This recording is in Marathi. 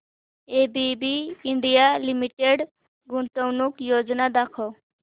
एबीबी इंडिया लिमिटेड गुंतवणूक योजना दाखव